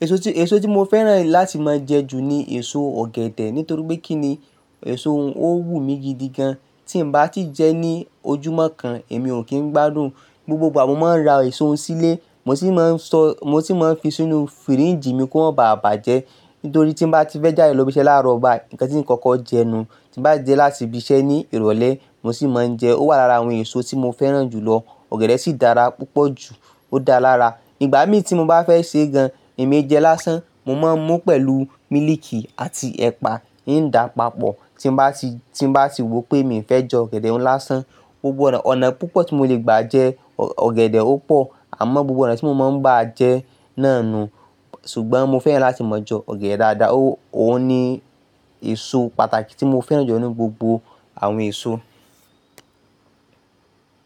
Èso tí, èso tí mo fẹ́ràn láti máa jẹ ju ni èso ọ̀gẹ̀dẹ̀ nítorí pé kí ni èso un ó wù mí gidigan. Tí n bá ti jẹ ẹ ní ojúmọ́ kan èmi ò kí ń gbádùn, gbogbo ìgbà mo máa ń ra èso òun sílé, mo sì máa ń sọ́, mo sì máa ń fi sínú fíríjì mi kó baà bàjẹ́. Nítorí tí n bá ti fẹ́ jáde lọ́ bí iṣẹ́ láàárọ̀ bayi, ǹkan tí koko jẹnu. Tí n bá dé láti ibi iṣẹ́ ní ìrọ̀lẹ́ mo sì máa ń jẹ ẹ. Ó wà lára àwọn èso tí mo fẹ́ràn jùlọ. Ọ̀gẹ̀dẹ̀ sì dára púpọ̀ jù ó dáa lára. Ìgbà mí tí mo bá fẹ́ sè gan èmi jẹ lásán, mo máa ń mu pẹ̀lú mílìkì àti ẹ̀pà, ii n da papọ̀. Tí n bá ti, tí n bá ti wò pé mi fẹ́ jẹ ọ̀gẹ̀dẹ̀ láṣán, ó gbọdọ̀ ọ̀nà púpọ̀ tí mo lè gbà jẹ ọ̀gẹ̀dẹ̀ ó pọ̀. Àmọ́ gbogbo ọ̀nà tí mo máa ń gbà jẹ ẹ náà nu. Ṣùgbọ́n mo fẹ́ràn láti máa jẹ ọ̀gẹ̀dẹ̀ dáadáa. Ó ní èso pàtàkì tí mo fẹ́ràn jù ọ nínú gbogbo àwọn èso 65.